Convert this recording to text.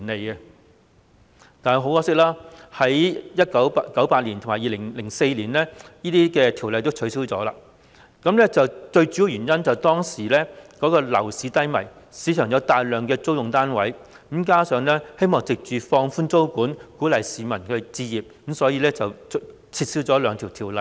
很可惜，這些法例先後在1998年和2004年撤銷，最主要的原因是當時樓市低迷，市場上有大量出租單位，加上政府希望藉放寬租務管制，鼓勵市民置業，所以撤銷這兩項條例。